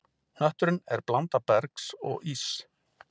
Hnötturinn er blanda bergs og íss.